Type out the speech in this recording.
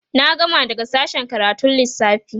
na gama daga sashen karatun Lissafi